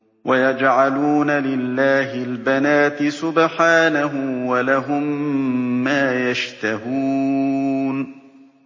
وَيَجْعَلُونَ لِلَّهِ الْبَنَاتِ سُبْحَانَهُ ۙ وَلَهُم مَّا يَشْتَهُونَ